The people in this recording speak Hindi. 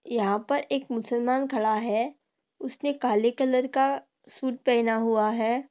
यहा पर एक मुसलमान खड़ा है उसने काले कलर का सूट पहना हुआ है।